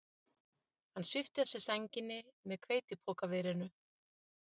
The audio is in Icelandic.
Hann svipti af sér sænginni með hveitipokaverinu.